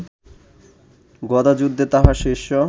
গদাযুদ্ধে তাহার শিষ্য